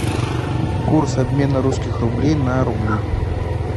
курс обмена русских рублей на рубли